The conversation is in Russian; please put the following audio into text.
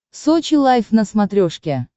сочи лайф на смотрешке